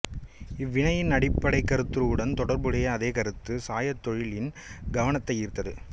இவ்வினையின் அடிப்படைக் கருத்துருவுடன் தொடர்புடைய அதே கருத்து சாயத் தொழிலின் கவனத்தை ஈர்த்தது